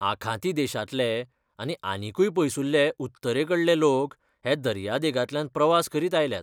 आखाती देशांतले आनी आनीकूय पयसुल्ले उत्तरेकडले लोक हे दर्यादेगांतल्यान प्रवास करीत आयल्यात.